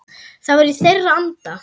Það var í þeirra anda.